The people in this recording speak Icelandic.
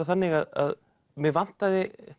þannig að mig vantaði